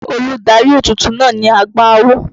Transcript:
Olùdarí ètùtù náà ni àgbà awo.